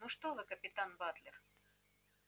ну что вы капитан батлер